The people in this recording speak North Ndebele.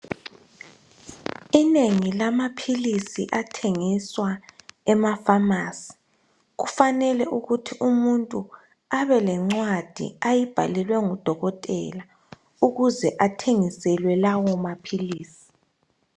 Inengi lamaphilisi athengiswa ema pharmacy kufanele ukuthi umuntu abe lencwadi ayibhalelwe ngudokotela ukuze athengiselwe lawo maphilisi